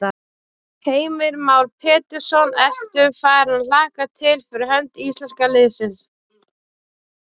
Heimir Már Pétursson: Ertu farin að hlakka til fyrir hönd íslenska liðsins?